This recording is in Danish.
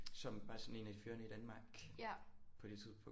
Som var sådan en af de førende i Danmark på det tidspunkt